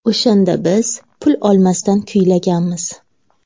O‘shanda biz pul olmasdan kuylaganmiz.